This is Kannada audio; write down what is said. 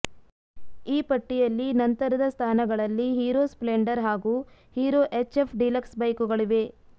ಈ ಪಟ್ಟಿಯಲ್ಲಿ ನಂತರದ ಸ್ಥಾನಗಳಲ್ಲಿ ಹೀರೋ ಸ್ಪ್ಲೆಂಡರ್ ಹಾಗೂ ಹೀರೋ ಎಚ್ಎಫ್ ಡಿಲಕ್ಸ್ ಬೈಕುಗಳಿವೆ